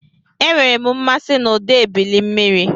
Enwere m mmasị na ụda ebili mmiri.